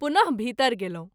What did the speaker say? पुन: भीतर गेलहुँ।